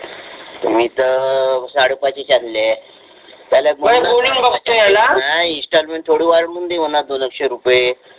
मी तर साडेपाच चीच आणले इंस्टॉलमेंट थोडी वाढवून दे मला दोनकशे रुपये